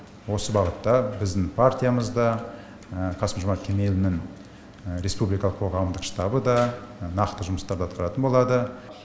осы бағытта біздің партиямыз да қасым жомарт кемелұлының республикалық қоғамдық штабы да нақты жұмыстарды атқаратын болады